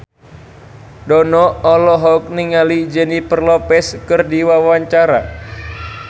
Dono olohok ningali Jennifer Lopez keur diwawancara